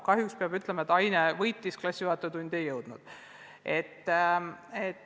Kahjuks peab ütlema, et ainetund võitis, klassijuhatajatundi ei jõutud.